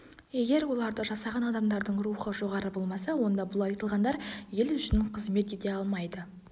егер оларды жасаған адамдардың рухы жоғары болмаса онда бұл айтылғандар ел үшін қызмет ете алмайды